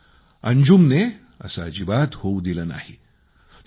परंतु अंजुमने असं अजिबात होऊ दिलं नाही